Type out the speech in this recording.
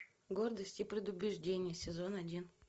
гордость и предубеждения сезон один